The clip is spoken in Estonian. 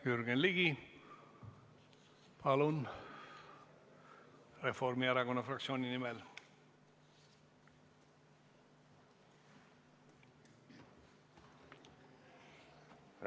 Jürgen Ligi Reformierakonna fraktsiooni nimel, palun!